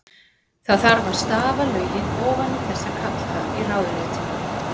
Það þarf að stafa lögin ofan í þessa kalla í ráðuneytunum.